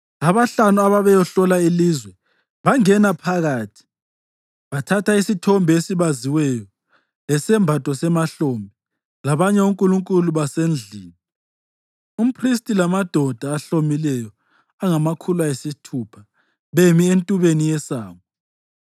Abahlanu ababeyehlola ilizwe bangena phakathi bathatha isithombe esibaziweyo, lesembatho semahlombe, labanye onkulunkulu basendlini, umphristi lamadoda ahlomileyo angamakhulu ayisithupha bemi entubeni yesango.